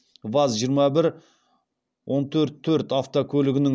ваз жиырма бір он төрт төрт автокөлігінің